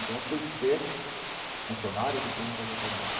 Então, fui ser funcionário de clínica veterinária.